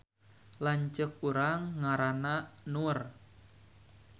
Lanceuk urang ngaranna Nur